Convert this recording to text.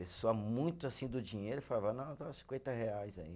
Pessoa muito assim do dinheiro, falava, não, dá cinquenta reais aí.